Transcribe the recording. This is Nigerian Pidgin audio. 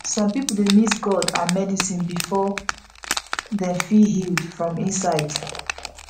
some people dey mix god and medicine before dem feel healed from inside